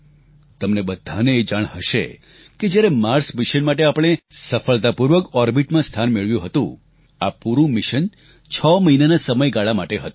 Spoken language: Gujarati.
તમને બધાને એ જાણ હશે કે જ્યારે માર્સ મિશન માટે આપણે સફળતાપૂર્વક ઓરબિટમાં સ્થાન મેળવ્યું હતું આ પૂરું મિશન છ મહિનાના સમયગાળા માટે હતું